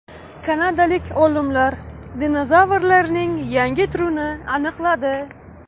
Kanadalik olimlar dinozavrlarning yangi turini aniqladi.